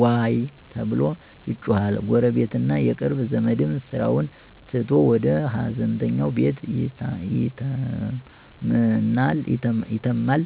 “ዋይ” ተብሎ ይጮሃል፣ ጎረቤትና የቅርብ ዘመድም ስራውን ትቶ ወደ ሃዘንተኛው ቤት ይተማመናል።